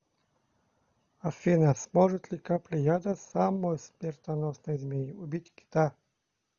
афина сможет ли капля яда самой смертоносной змеи убить кита